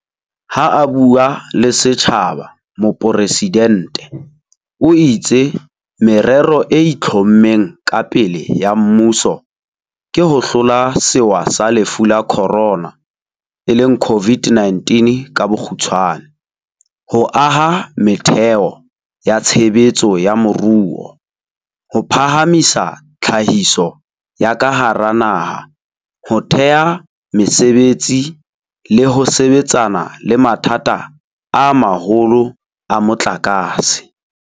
Ha a bua le setjhaba, mopresidente o itse merero e itlhommeng ka pele ya mmuso ke ho hlola sewa sa Lefu la Khorona e leng COVID-19 ka bokgutshwane, ho aha metheo ya tshebetso ya moruo, ho phahamisa tlhahiso ya ka hara naha, ho thea mesebetsi le ho sebetsana le mathata a maholo a motlakase.